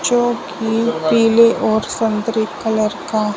जो की पीले और संतरे कलर का --